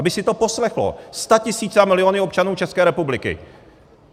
Aby si to poslechly statisíce a miliony občanů České republiky.